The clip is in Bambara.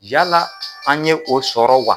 Yala an ye o sɔrɔ wa